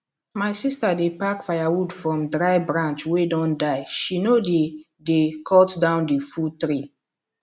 my sister dey pack firewood from dry branch wey don die she no dey dey cut down the full tree